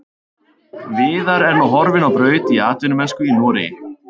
Viðar er nú horfinn á braut í atvinnumennsku í Noregi.